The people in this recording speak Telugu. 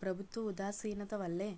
ప్రభుత్వ ఉదాసీనత వల్లే